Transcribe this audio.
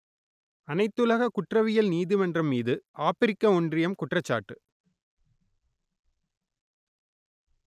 அனைத்துலக குற்றவியல் நீதிமன்றம் மீது ஆப்பிரிக்க ஒன்றியம் குற்றச்சாட்டு